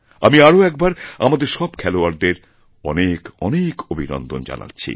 আমি আরও একবারআমাদের সব খেলোয়াড়দের অনেকঅনেক অভিনন্দন জানাচ্ছি